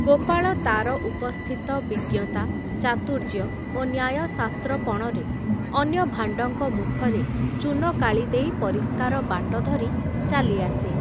ଗୋପାଳ ତା’ର ଉପସ୍ଥିତ ବିଜ୍ଞତା, ଚାତୁର୍ଯ୍ୟ ଓ ନ୍ୟାୟଶାସ୍ତ୍ର ପଣରେ ଅନ୍ୟ ଭାଣ୍ଡଙ୍କ ମୁଖରେ ଚୂନକାଳି ଦେଇ ପରିଷ୍କାର ବାଟ ଧରି ଚାଲି ଆସେ ।